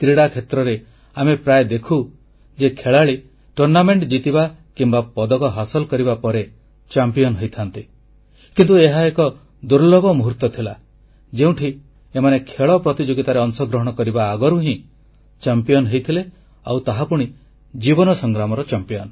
କ୍ରୀଡ଼ାକ୍ଷେତ୍ରରେ ଆମେ ପ୍ରାୟ ଦେଖୁ ଯେ ଖେଳାଳି ଜିତିବା କିମ୍ବା ପଦକ ହାସଲ କରିବା ପରେ ଚାମ୍ପିଅନ ହୋଇଥାନ୍ତି କିନ୍ତୁ ଏହା ଏକ ଦୁର୍ଲ୍ଲଭ ମୁହୂର୍ତ୍ତ ଥିଲା ଯେଉଁଠି ଏମାନେ ଖେଳ ପ୍ରତିଯୋଗିତାରେ ଅଂଶଗ୍ରହଣ କରିବା ଆଗରୁ ହିଁ ବିଜୟୀ ଥିଲେ ଆଉ ତାହାପୁଣି ଜୀବନ ସଂଗ୍ରାମରେ